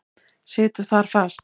Situr þar fast.